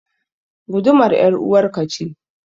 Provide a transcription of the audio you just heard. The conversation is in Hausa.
Gudumar ƴaruwar ka ce.